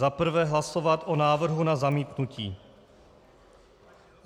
Za prvé hlasovat o návrhu na zamítnutí.